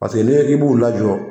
Paseke ne ko k'i b'u lajɔ